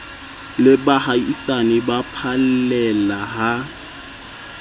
le baahisane ba phallela ha